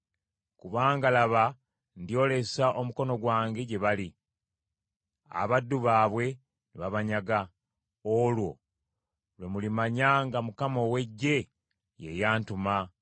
Kubanga laba ndyolesa omukono gwange gye bali, abaddu baabwe ne babanyaga. Olwo lwe mulimanya nga Mukama ow’Eggye ye yantuma.